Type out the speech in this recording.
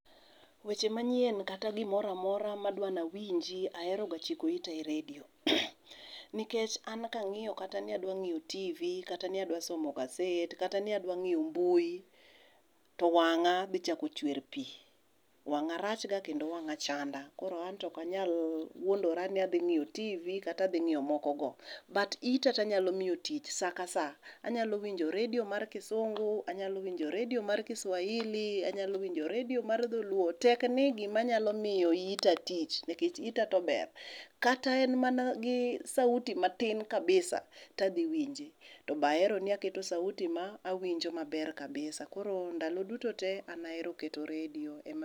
Weche manyien kata gimoro amora madwa ni awinji aheroga chiko ita e redio nikech an kang'iyo kata ni adua ng'iyo tv kata ni adwa somo gaset, kata ni adwa ng'iyo mbui to wang'a dhi chako chwer pi. Wang'a rach ga kendo wang'a chanda koro an to ok anyal wuondora ni adhi ng'iyo tv kata adhi ng'iyo mokogo but ita to anyalo miyo tich saa ka saa. Anyalo winjo redio mar kisungu anyalo winjo redio mar kiswahili anyalo winjo redio mar dholuo tek ni gima nyalo miyo ita tich nikech ita to ber. Kata en mana gi [cs[sauti matin kabisa to adhi winje to be ahero ni aketo sauti maber kabisa koro ndalo duto te an ahero keto redio ema